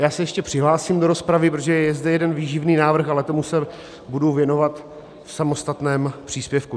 Já se ještě přihlásím do rozpravy, protože je zde jeden výživný návrh, ale tomu se budu věnovat v samostatném příspěvku.